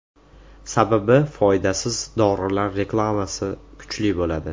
Sababi foydasiz dorilar reklamasi kuchli bo‘ladi.